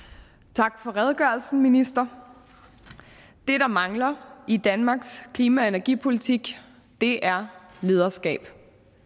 tak for redegørelsen ministeren det der mangler i danmarks klima og energipolitik er lederskab